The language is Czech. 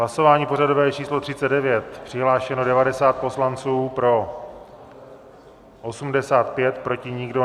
Hlasování pořadové číslo 39, přihlášeno 90 poslanců, pro 85, proti nikdo.